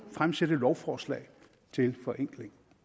fremsætte lovforslag til forenkling